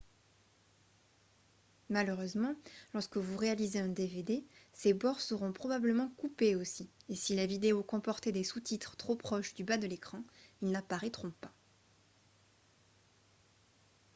malheureusement lorsque vous réalisez un dvd ses bords seront probablement coupés aussi et si la vidéo comportait des sous-titres trop proches du bas de l'écran ils n'apparaîtront pas